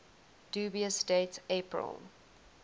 dubious date april